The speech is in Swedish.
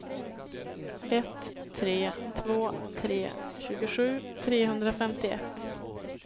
ett tre två tre tjugosju trehundrafemtioett